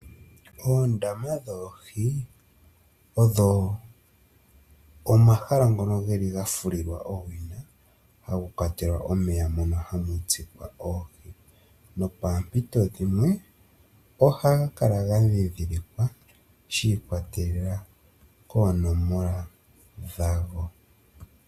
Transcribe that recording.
Oondama dhoohi odho omahala ngono geli gafulilwa owina hamu kwatelwa omeya mono hamutsikwa oohi nopaampito dhimwe ohaga kala gandhindhilikwa shi ikwatelela koonomola dhago.